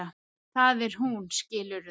Það er hún, skilurðu?